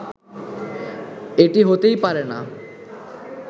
এটি হতেই পারে না